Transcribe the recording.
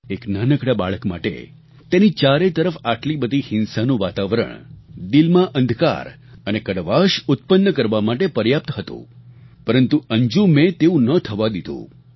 એક નાનકડા બાળક માટે તેની ચારે તરફ આટલી બધી હિંસાનું વાતાવરણ દિલમાં અંધકાર અને કડવાશ ઉત્પન્ન કરવા માટે પર્યાપ્ત હતું પરંતુ અંજુમે તેવું ન થવા દીધું